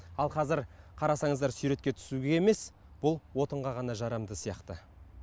ал қазір қарасаңыздар суретке түсуге емес бұл отынға ғана жарамды сияқты